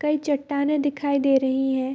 कई चट्टानें दिखाई दे रही है।